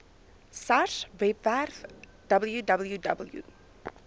sars webwerf www